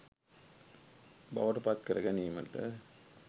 බවට පත් කරගැනීමට